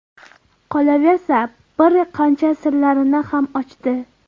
Qolaversa, bir qancha sirlarini ham ochdi.